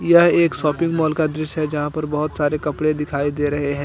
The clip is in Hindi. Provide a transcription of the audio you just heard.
यह एक शॉपिंग मॉल का दृश्य है यहां पर बहुत सारे कपड़े दिखाई दे रहे हैं।